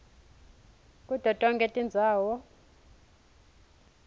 kuto tonkhe tindzawo